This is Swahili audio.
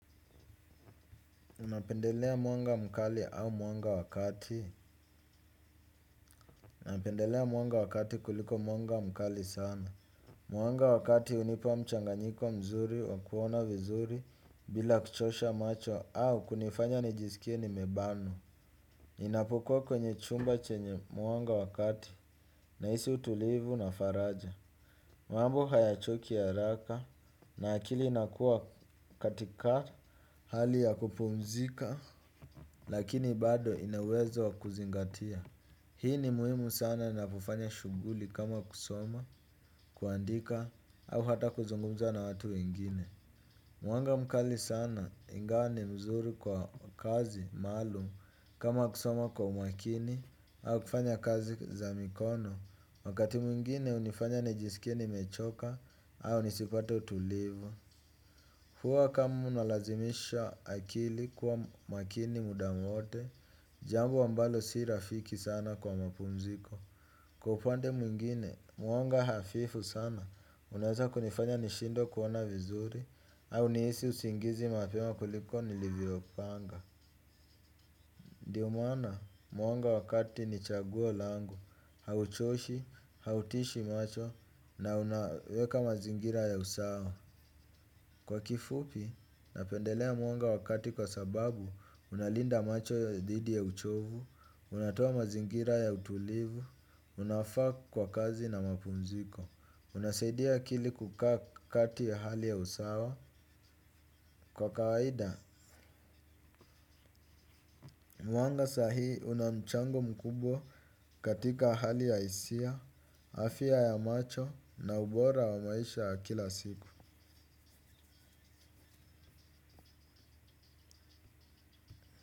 Napendelea mwanga mkali au mwanga wakati, napendelea mwanga wa kati kuliko mwanga mkali sana. Mwanga wa kati hunipa mchanganyiko mzuri wa kuona vizuri bila kuchosha macho au kunifanya nijisikie nimebanwa. Inapokuwa kwenye chumba chenye mwanga wa kati nahisi utulivu na faraja. Mambo hayachoki haraka na akili inakua katika hali ya kupumzika lakini bado ina uwezo wa kuzingatia. Hii ni muhimu sana ninapofanya shughuli kama kusoma, kuandika au hata kuzungumza na watu wengine. Mwanga mkali sana ingawa ni mzuri kwa kazi, maalum kama kusoma kwa umakini au kufanya kazi za mikono. Wakati mwingine hunifanya nijisikie nimechoka au nisipate utulivu huwa kama unalazimisha akili kuwa makini muda mwote jambo ambalo si rafiki sana kwa mapumziko. Kwa upande mwingine mwanga hafifu sana unaweza kunifanya nishindwe kuona vizuri au nihisi usingizi mapema kuliko nilivyopanga. Ndio maana mwanga wa kati ni chaguo langu hauchoshi, hautishi macho na unaweka mazingira ya usawa. Kwa kifupi, napendelea mwanga wa kati kwa sababu, unalinda macho ya dhidi ya uchovu, unatoa mazingira ya utulivu, unaofaa kwa kwa kazi na mapumziko, unasaidia akili kukaa kati ya hali ya usawa. Kwa kawaida, mwanga sahii una mchango mkubwa katika hali ya hisia, afya ya macho na ubora wa maisha ya kila siku.